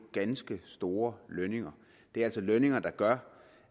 ganske store lønninger det er altså lønninger der gør